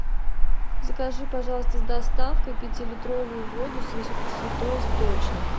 закажи пожалуйста с доставкой пятилитровую воду святой источник